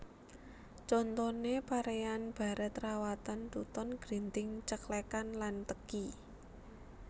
Contoné paréan barèt rawatan tuton grinting ceklèkan lan teki